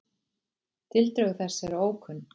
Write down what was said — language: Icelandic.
Tildrög þess eru ókunn.